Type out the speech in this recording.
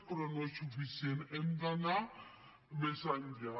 però no és suficient hem d’anar més enllà